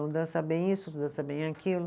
Um dança bem isso, outro dança bem aquilo.